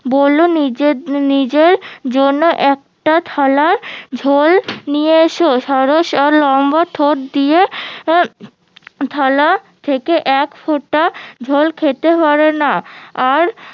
বললো নিজের নিজের জন্য একটা থালা ঝোল নিয়ে এসো সারস লম্বা ঠোট দিয়ে থালা থেকে একফোঁটা ঝোল খেতে পারে না আর